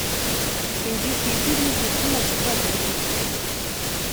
индийские фильмы с митхуном чакраборти